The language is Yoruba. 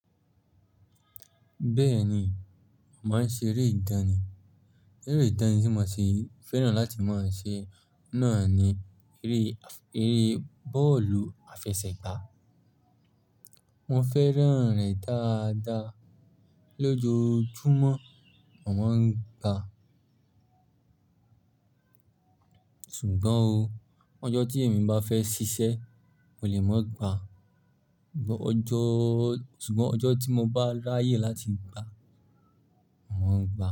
Bẹ́ẹ̀ni, màá ń ṣe eré ìdánì. Eré ìdánì tí mo si fẹ́ràn láti máa ń ṣe náà ni eré, eré bọ́ọ̀lù àfẹsẹ̀gbá. Mo fẹ́ràn rẹ̀ dáadáa. Lójiojúmọ́, mo màá ń gbàá. Sugbọ́n o, ọjọ́ tí èmi bá fẹ́ ṣiṣẹ́, mò lè mo gba. Ọjọ́, ṣùgbọ́n ọjọ́ tí mo bá ráyè láti gbá, mo maá n gba.